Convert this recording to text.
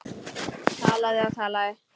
Talaði og talaði.